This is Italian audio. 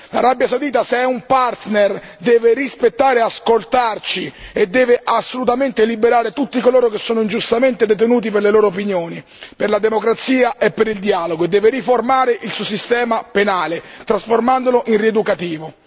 L'Arabia Saudita, se è un partner, deve rispettare e ascoltarci e deve assolutamente liberare tutti coloro che sono ingiustamente detenuti per le loro opinioni, per la democrazia e per il dialogo, deve riformare il suo sistema penale trasformandolo in rieducativo.